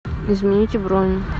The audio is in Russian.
измените бронь